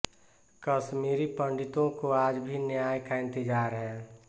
कश्मीरी पंडितों को आज भी न्याय का इंतजार है